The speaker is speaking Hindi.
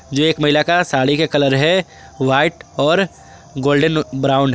यह एक महिला का साड़ी के कलर है व्हाइट और गोल्डन ब्राउन ।